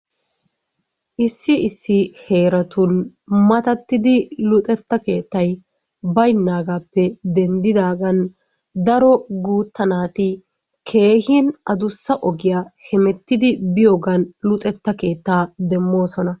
issi issi heeratun matatiddi luxetta keettay baynnagaappe denddigaan daro guutta naati keehin addussa ogiyaa hemettidi biyoogan luxetta keetta demmoosona.